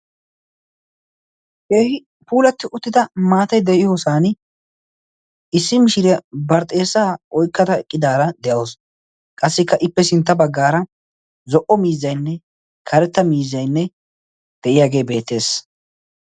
keehi puulatti uttida maatai de7iyoosan issi mishira barxxeessaa oikkada eqqidaara de7ausu qassikka ippe sintta baggaara zo77o miizzainne karetta miizzainne de7iyaagee beettees